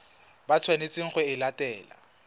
ba tshwanetseng go e latela